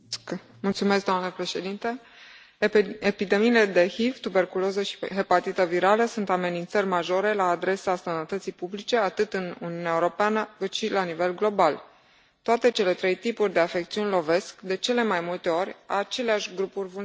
Doamnă președintă, epidemiile de HIV, tuberculoză și hepatită virală sunt amenințări majore la adresa sănătății publice, atât în Uniunea Europeană, cât și la nivel global. Toate cele trei tipuri de afecțiuni lovesc, de cele mai multe ori, aceleași grupuri vulnerabile.